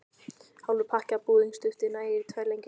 Hálfur pakki af búðingsdufti nægir í tvær lengjur.